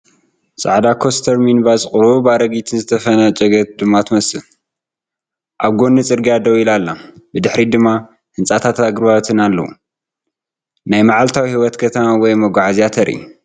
ጻዕዳ ኮስተር ሚኒባስ ቁሩብ ኣረጊትን ዝተፈንገጨት ድማ ትመስል። ኣብ ጐኒ ጽርግያ ደው ኢላ ኣላ። ብድሕሪት ድማ ህንጻታትን ኣግራብን ኣለዋ። ናይ መዓልታዊ ህይወት ከተማ ወይ መጓዓዝያ ተርኢ።